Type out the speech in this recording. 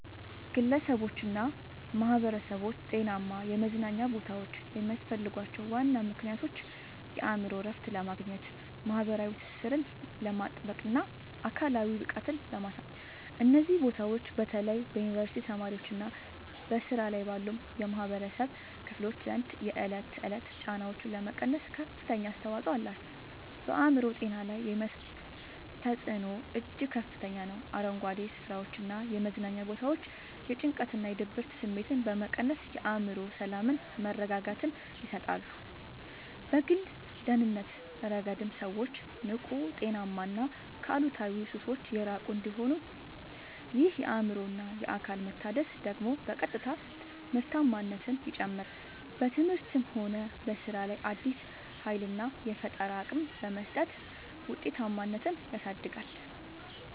ግለሰቦችና ማኅበረሰቦች ጤናማ የመዝናኛ ቦታዎች የሚያስፈልጓቸው ዋና ምክንያቶች የአእምሮ እረፍት ለማግኘት፣ ማኅበራዊ ትስስርን ለማጥበቅና አካላዊ ብቃትን ለማሳደግ ነው። እነዚህ ቦታዎች በተለይ በዩኒቨርሲቲ ተማሪዎችና በሥራ ላይ ባሉ የኅብረተሰብ ክፍሎች ዘንድ የዕለት ተዕለት ጫናዎችን ለመቀነስ ከፍተኛ አስተዋጽኦ አላቸው። በአእምሮ ጤና ላይ የሚያሳድሩት ተጽዕኖ እጅግ ከፍተኛ ነው፤ አረንጓዴ ስፍራዎችና የመዝናኛ ቦታዎች የጭንቀትና የድብርት ስሜትን በመቀነስ የአእምሮ ሰላምና መረጋጋትን ይሰጣሉ። በግል ደህንነት ረገድም ሰዎች ንቁ: ጤናማና ከአሉታዊ ሱሶች የራቁ እንዲሆኑ ይረዳቸዋል። ይህ የአእምሮና አካል መታደስ ደግሞ በቀጥታ ምርታማነትን ይጨምራል: በትምህርትም ሆነ በሥራ ላይ አዲስ ኃይልና የፈጠራ አቅም በመስጠት ውጤታማነትን ያሳድጋል።